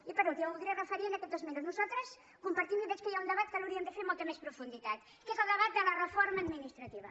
i per últim m’hi voldria referir en aquests dos mi·nuts nosaltres compartim i veig que hi ha un debat que l’hauríem de fer amb molta més profunditat que és el debat de la reforma administrativa